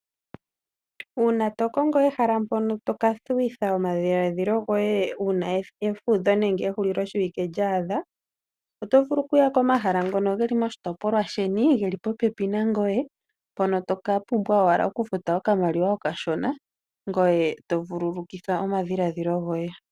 Uuna to kongo ehala npono to ka thuwitha omadhiladhilo goye uuna efudho nenge ehuliloshiwike lya adha, oto vulu okuya komahala ngono geli moshitopolwa sheni, geli popepi nangoye mpono to ka pumbwa owala okufuta okamaliwa okashona. Ngoye to vululukitha omadhiladhilo goye.